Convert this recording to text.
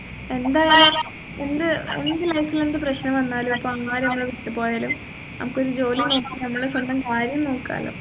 എന്തായാലും എന്ത് എന്ത് life ൽ എന്ത് പ്രശ്നം വന്നാലും ഇപ്പൊ നമ്മളെ ആര് വിട്ടുപോയാലും നമ്മുക്ക് ഒരു ജോലി വാങ്ങിച്ച് നമ്മളെ സ്വന്തം കാര്യം നോക്കാലോ